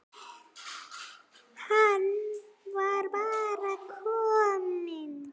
Hann var bara kominn.